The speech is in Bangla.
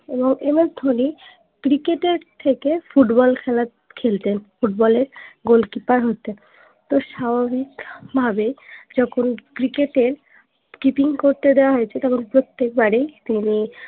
এবং ms ধোনি cricket এর থেকে football খেলা খেলতেন football এ goalkeeper হতেন তো স্বাভাবিক ভাবে যখন cricket এর keeping করতে দেয়া হয়েছে তখন প্রত্যেক বারেই তিনি